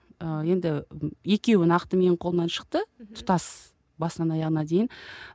енді екеуі нақты менің қолымнан шықты тұтас басынан аяғына дейін